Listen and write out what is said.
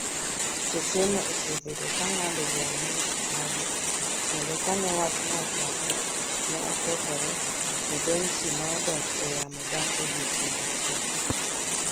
Stesenno osebedo ka ng’ado bura ne Mr. Abiy, kendo ka ne wachno ochako, ne okethore, to Dimtsi nodok e yamo bang’ odiechieng’ achiel.